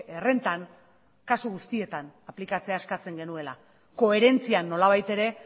errentan kasu guztietan aplikatzea eskatzen genuela koherentzian nolabait ere